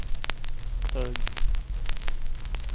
hög